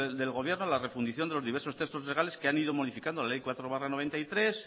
del gobierno la refundición de los diversos textos legales que han ido modificación la ley cuatro barra noventa y tres